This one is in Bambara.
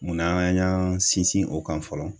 Munna an y'an sinsin o kan fɔlɔ?